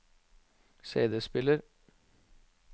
CD-spiller